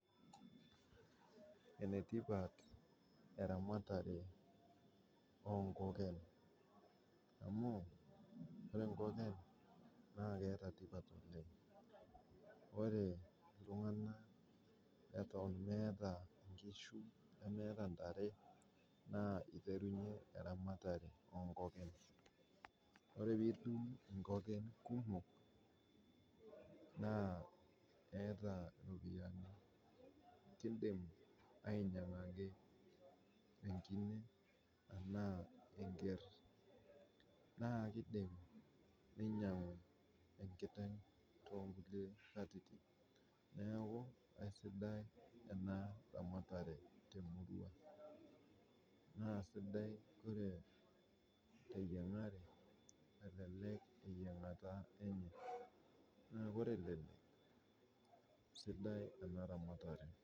Enetipat eramatare oo nkokon, amu ore enkoken naa keata tipat oleng. Ore ltungana eton emeeta inkishu, nemeeta intare naa eitarunye iramatare oo inkoken. Ore piitum inkoken kumok naa eata iropiyiani, kindim ainyang'aki enkine tanaa enkerr, naa keidim neinyang'u enkiteng' too nkule atitin naaku, aisidai ena ramatare te murua, naa esidai koree te iyang'are elelek iyang'ata enye, naaku ore elelek esiddi ena ramatare.